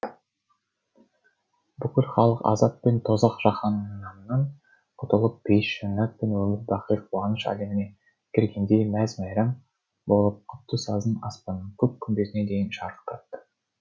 бүкіл халық азап пен тозақ жаһаннамнан құтылып пейіш жаннат пен өмірбақи қуаныш әлеміне кіргендей мәз мейрам болып құтты сазын аспанның көк күмбезіне дейін шарықтатты